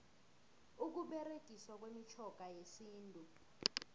ukuberegiswa kwemitjhoga yesintu